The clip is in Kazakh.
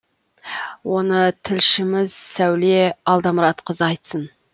оны тілшіміз сәуле алдамұратқызы айтсын